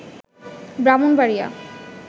Brahmanbaria